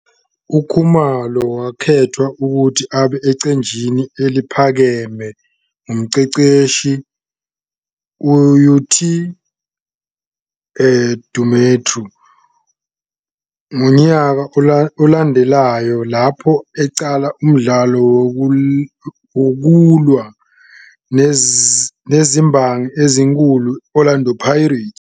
UKhumalo wakhethwa ukuthi abe eqenjini eliphakeme ngumqeqeshi UTed Dumitru ngonyaka olandelayo, lapho eqala umdlalo wokulwa nezimbangi ezinkulu i-Orlando Pirates.